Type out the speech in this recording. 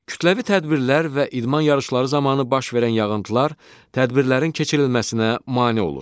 Kütləvi tədbirlər və idman yarışları zamanı baş verən yağıntılar tədbirlərin keçirilməsinə mane olur.